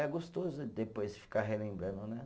É gostoso depois ficar relembrando, né?